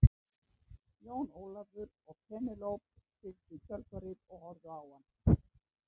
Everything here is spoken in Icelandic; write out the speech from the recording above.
Jón Ólafur og Penélope fylgdu í kjölfarið og horfðu á hann.